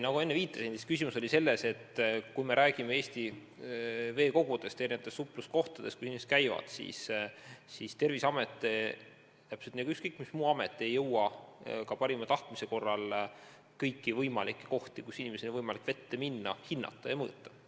Nagu ma enne viitasin, küsimus oli selles, et kui me räägime Eesti veekogudest, erinevatest supluskohtadest, kus inimesed käivad, siis ei Terviseamet ega ükskõik mis muu amet ei jõua ka parima tahtmise korral kõiki kohti, kus inimestel on võimalik vette minna, hinnata ja mõõta.